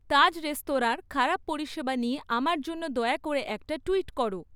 তাজ রেস্তরাঁঁর খারাপ পরিষেবা নিয়ে আমার জন্য দয়া করে একটা টুইট করো